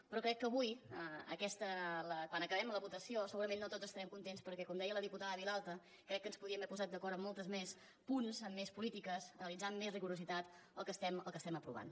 però crec que avui quan acabem la votació segurament no tots estarem contents perquè com deia la diputada vilalta crec que ens podríem haver posat d’acord en molts més punts en més polítiques analitzar amb més rigorositat el que estem aprovant